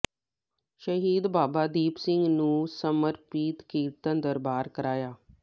ਸ਼ਹੀਦ ਬਾਬਾ ਦੀਪ ਸਿੰਘ ਨੂੰ ਸਮਰਪਿਤ ਕੀਰਤਨ ਦਰਬਾਰ ਕਰਾਇਆ